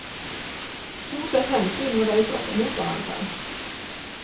To sett hensyn må veies opp mot hverandre.